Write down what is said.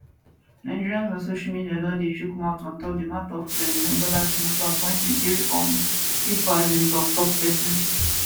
nigerians on social media don dey chook mouth on top di mata of president bola tinubu appointing three um pipo as im toktok pesins